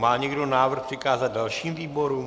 Má někdo návrh přikázat dalším výborům?